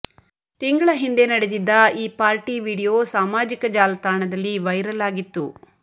ತಿಂಗಳ ಹಿಂದೆ ನಡೆದಿದ್ದ ಈ ಪಾರ್ಟಿ ವಿಡಿಯೋ ಸಾಮಾಜಿಕ ಜಾಲತಾಣದಲ್ಲಿ ವೈರಲ್ ಆಗಿತ್ತು